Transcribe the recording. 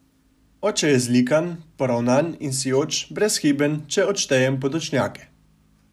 Oče je zlikan, poravnan in sijoč, brezhiben, če odštejem podočnjake.